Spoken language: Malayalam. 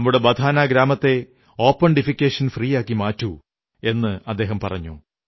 നമ്മുടെ ബധാനാ ഗ്രാമത്തെ ഓപൺ ഡിഫെക്കേഷൻ ഫ്രീ ആക്കി മാറ്റൂ എന്നു പറഞ്ഞു